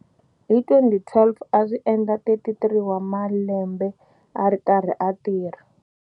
Hi 2012 a swi endla 33 wa malembe a ri karhi a tirha.